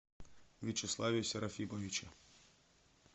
вячеславе серафимовиче